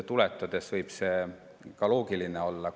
Selles mõttes võib see ka loogiline olla.